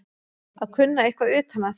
Að kunna eitthvað utan að